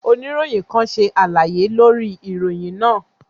Onirohin kan ṣe alaye lori iroyin naa.